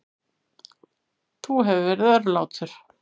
Þú hefur verið örlátur.